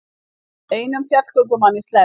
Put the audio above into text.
Einum fjallgöngumanni sleppt